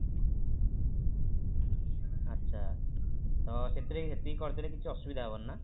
ଆଚ୍ଛା ତ ସେଥିରେ ହେତିକି କରିଦେଲେ କିଛି ଅସୁବିଧା ହବନି ନା